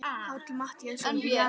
Páll Matthíasson: Í janúar?